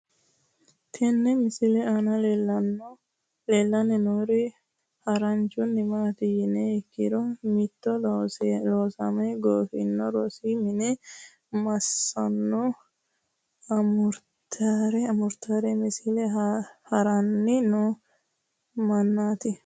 Tenne misile aana leelanni nooeri haranchunni maati yiniha ikkiro? Mitto loosame goofinno rosu minne maaso amuraatira misile haaranni noo mannati